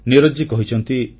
ନିରଜଜୀ କହିଛନ୍ତି